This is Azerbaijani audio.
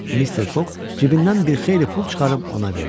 Mister Fogg cibindən bir xeyli pul çıxarıb ona verdi.